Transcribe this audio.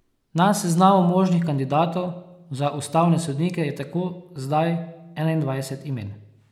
Na seznamu možnih kandidatov za ustavne sodnike je tako zdaj enaindvajset imen.